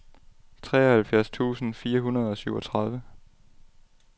treoghalvfjerds tusind fire hundrede og syvogtredive